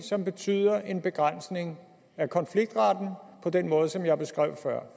som betyder en begrænsning af konfliktretten på den måde som jeg beskrev før